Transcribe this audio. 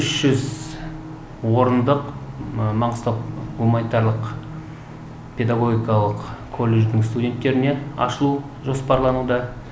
үш жүз орындық маңғыстау гуманитарлық педагогикалық колледждің студенттеріне ашылу жоспарлануда